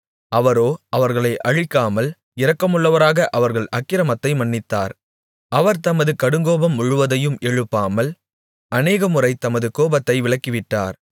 அவரோ அவர்களை அழிக்காமல் இரக்கமுள்ளவராக அவர்கள் அக்கிரமத்தை மன்னித்தார் அவர் தமது கடுங்கோபம் முழுவதையும் எழுப்பாமல் அநேகமுறை தமது கோபத்தை விலக்கிவிட்டார்